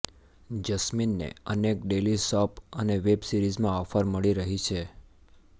જસ્મીનને અનેક daily soap અને web સિરીઝમાં ઓફર મળી રહી છે